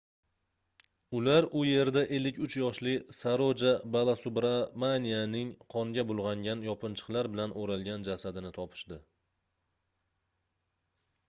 ular u yerda 53 yoshli saroja balasubramanianning qonga bulgʻangan yopinchiqlar bilan oʻralgan jasadini topishdi